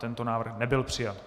Tento návrh nebyl přijat.